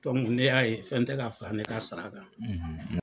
Ne y'a ye fɛn tɛ ka fara ne ka sara kan.